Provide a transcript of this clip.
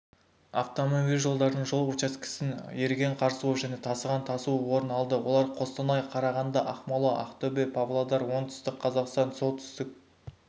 автомобиль жолдарының жол учаскесін еріген қар суы және тасқын тасуы орын алды олар қостанай қарағанды ақмола ақтөбе павлодар оңтүстік қазақстан солтүстік